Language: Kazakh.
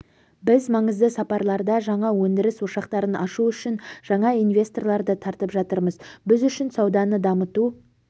біз маңызды салаларда жаңа өндіріс ошақтарын ашу үшін жаңа инвесторларды тартып жатырмыз біз үшін сауданы дамыту